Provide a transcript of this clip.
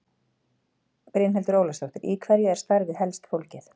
Brynhildur Ólafsdóttir: Í hverju er starfið helst fólgið?